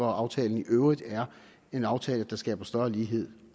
at aftalen i øvrigt er en aftale der skaber større lighed